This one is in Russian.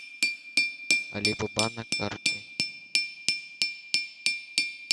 алибаба на карте